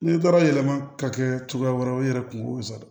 N'i taara yɛlɛma ka kɛ cogoya wɛrɛw ye i yɛrɛ kungo sa